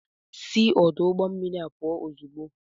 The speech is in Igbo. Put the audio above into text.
Si ọdụ ụgbọ mmiri a pụl ozugbo!